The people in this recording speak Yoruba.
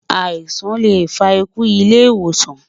àìsàn lẹ fà ikú ilé ìwòsan